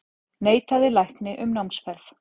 Neitaði lækni um námsferð